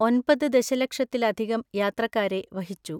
ഒൻപത് ദലക്ഷത്തിലധികം യാത്രക്കാരെ വഹിച്ചു.